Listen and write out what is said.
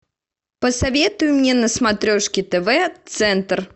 посоветуй мне на смотрешке тв центр